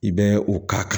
I bɛ o ka kan